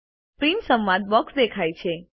print સંવાદ box દેખાય છે